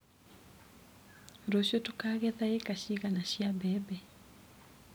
Rũciũ tũkagetha ĩka cigana cia mbebe.